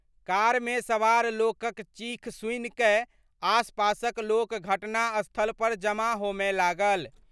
कारम सवार लोकक चीख सुनिकय आसपासक लोक घटनास्थल पर जमा होमय लागल।